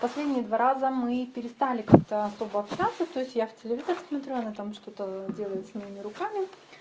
последние два раза мы перестали как-то особо общаться то есть я в телевизор смотрю она там что-то делает с моими руками